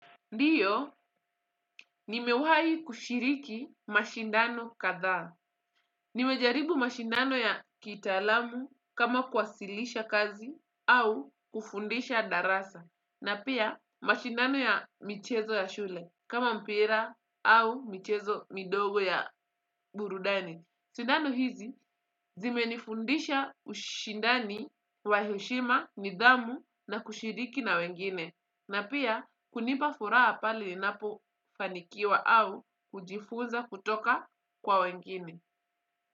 Ndiyo, nimewahi kushiriki mashindano kadhaa. Nimejaribu mashindano ya kitaalamu kama kwasilisha kazi au kufundisha darasa. Na pia mashindano ya michezo ya shule kama mpira au michezo midogo ya burudani. Shindano hizi, zimenifundisha ushindani wa heshima nidhamu na kushiriki na wengine. Na pia kunipa furaha pale ninapofanikiwa au kujifuza kutoka kwa wengine.